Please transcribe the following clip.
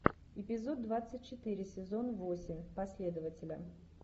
эпизод двадцать четыре сезон восемь последователя